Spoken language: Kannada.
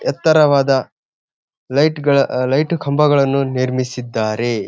ಎತ್ತರವಾದ ಲೈಟ್ಗಳ ಲೈಟ ಕಂಬಗಳನ್ನು ನಿರ್ಮಿಸಿದ್ದಾರೆ.